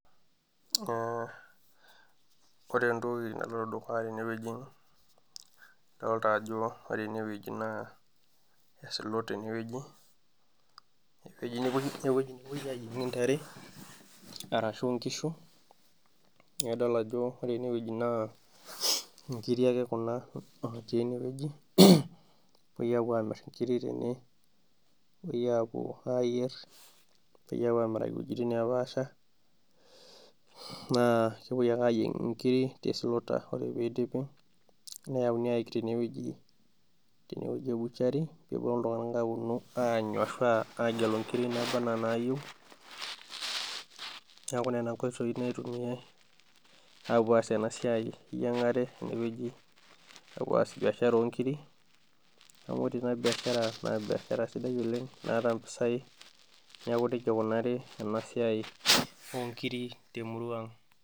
Ee ore entoki naloito dukuya tenewoji adoota ajo ore ena woji naa e slaughter enewoji ewoji nepoi ayienkie intare arashu inkishu, neeku idol ajo ore enewoji naa inkiri ake kuna natii enewoji nepoi apuo aamir inkiri tene nepoi apuo ayier nepoi apuo amiraki iwojitin nepaasha naa kepoi ake apuo ayieng inkiri te slaughter ore peyie idipi neeuni ayik tenewoji ebuchari neponu iltunganak agelo inkiri naaba enaa inaayieu. Neeku naa nena inkoitoi nitumiyai apuo aas ena siai eyiangare tenewoji apuo aas biashara oonkiri, neeku ore ena biashara naa biashara sidai oleng' naata impisai, neeku nejia eikunari ena siai onkiri temurrua ang'.